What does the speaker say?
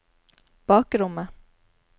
bakrommet